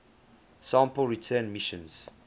sample return missions